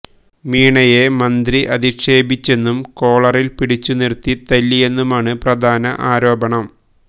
മീണയെ മന്ത്രി അധിക്ഷേപിച്ചെന്നും കോളറില് പിടിച്ചുനിര്ത്തി തല്ലിയെന്നുമാണ് പ്രധാന ആരോപണം